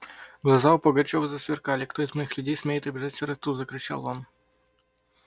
глаза у пугачёва засверкали кто из моих людей смеет обижать сироту закричал он